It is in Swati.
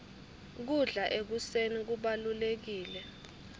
kudla ekuseni kubalulekile